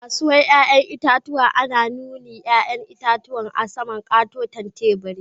A'kasuwan yayan itatuwa ana nuni'n yayan itatuwan a sama'n kataten taburi.